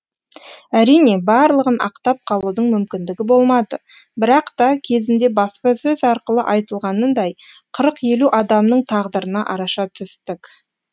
әрине барлығын ақтап қалудың мүмкіндігі болмады бірақ та кезінде баспасөз арқылы айтылғанындай қырық елу адамның тағдырына араша түстік